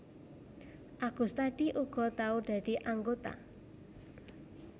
Agustadi uga tau dadi anggota